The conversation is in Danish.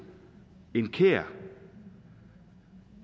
en kær